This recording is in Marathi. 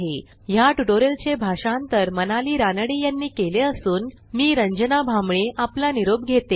ह्या ट्युटोरियलचे भाषांतर मनाली रानडे यांनी केले असून मी रंजना भांबळे आपला निरोप घेते